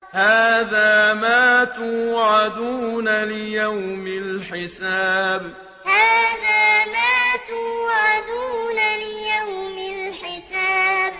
هَٰذَا مَا تُوعَدُونَ لِيَوْمِ الْحِسَابِ هَٰذَا مَا تُوعَدُونَ لِيَوْمِ الْحِسَابِ